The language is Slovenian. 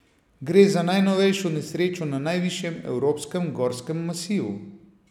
Gre za najnovejšo nesrečo na najvišjem evropskem gorskem masivu.